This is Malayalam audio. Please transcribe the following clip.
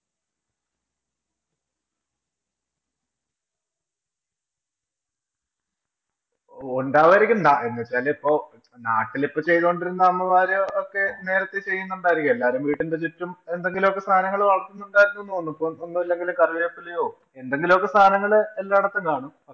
ഒണ്ടാവുമായിരിക്കും. നാ എന്ന് വച്ചാല് നാട്ടില്‍ ഇപ്പം ചെയ്തോണ്ടിരുന്ന അമ്മമാര് ഒക്കെ നേരത്തെ ചെയ്യുന്നുണ്ടായിരിക്കും. എല്ലാരും വീടിന്‍റെ ചുറ്റും എന്തെങ്കിലും ഒക്കെ സാധനങ്ങള്‍ വളര്‍ത്തുന്നുണ്ടായിരിക്കും എന്ന് തോന്നുന്നു. ഇപ്പം ഒന്നുമില്ലെങ്കിലും കരിവേപ്പിലയോ, എന്തെങ്കിലും ഒക്കെ സാധനങ്ങള്‍ എല്ലാടത്തും കാണും.